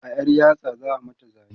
a ƴar yatsa za'a mata zane